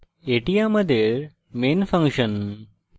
এটি আমাদের main function